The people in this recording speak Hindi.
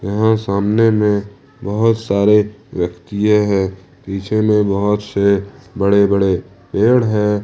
यहां सामने में बहोत सारे व्यक्तियें हैं पीछे में बहोत से बड़े-बड़े पेड़ हैं।